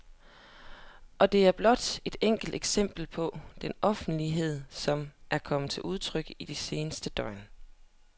Og det er blot et enkelt eksempel på den offervillighed, som er kommet til udtryk i de seneste døgn.